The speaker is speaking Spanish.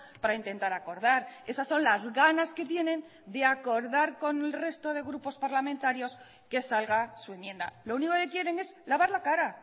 para intentar acordar esas son las ganas que tienen de acordar con el resto de grupos parlamentarios que salga su enmienda lo único que quieren es lavar la cara